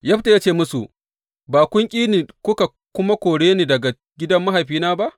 Yefta ya ce musu, Ba kun ƙi ni kuka kuma kore ni daga gidan mahaifina ba?